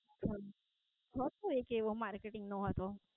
હતો એક એવો Marketing નો હતો